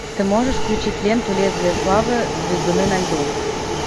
ты можешь включить ленту лезвие славы звездуны на льду